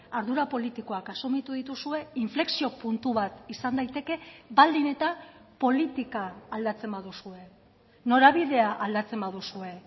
ardura politikoak asumitu dituzue inflexio puntu bat izan daiteke baldin eta politika aldatzen baduzue norabidea aldatzen baduzue